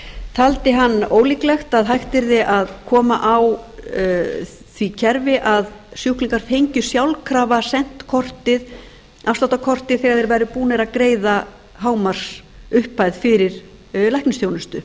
taldi hann ólíklegt að hægt yrði að koma á því kerfi að sjúklingar fengju sjálfkrafa sent afsláttarkortið þegar þeir væru búnir að greiða hámarksupphæð fyrir læknisþjónustu